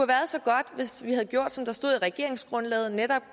været så godt hvis vi havde gjort som der stod i regeringsgrundlaget netop